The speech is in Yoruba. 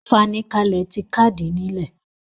ìfanikalẹ̀ ti kàdìí nílẹ̀.